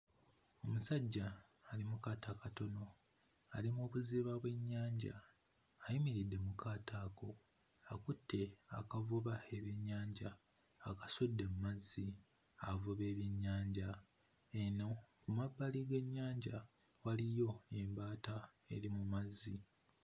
Omusajja ali mu kaato akatono ali mu kuvuba bwennyanja ayimiridde mu kaato ako akutte akavuba ebyennyanja akasudde mmazzi avuba ebyennyanja eno ku mabbali g'ennyanja waliyo embaata eri mu mazzi.